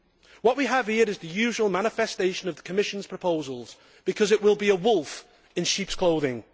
What we have here is the usual manifestation of the Commission's proposals, because it will be a wolf in sheep's clothing.